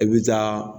I bi taa